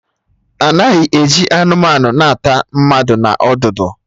Anaghị eji anụmanụ na ata mmadụ na ọdụdụ